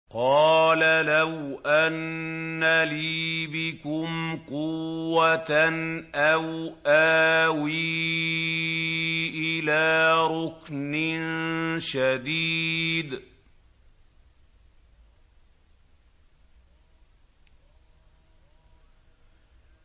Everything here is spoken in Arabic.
قَالَ لَوْ أَنَّ لِي بِكُمْ قُوَّةً أَوْ آوِي إِلَىٰ رُكْنٍ شَدِيدٍ